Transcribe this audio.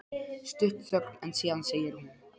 Stutt þögn en síðan segir hún